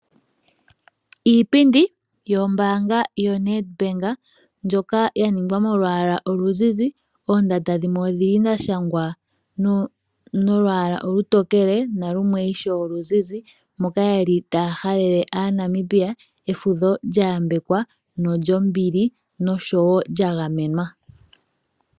Iipindi yombaanga yoNedbank ndjoka ya ningwa nolwaala oluzizi, oondanda dhimwe odha shangwa noolwaala olutokele nalumwe ishewe oluzizi moka ye li taya halele Aanamibia efudho lya yambekwa nolyombili noshowo lya gamenwa.